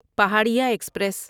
Paharia express